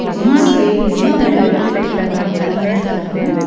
Gents லேடிஸ்ன்னு நெறைய பேர் இதுல அ கலந்துட்ருக்காங்க.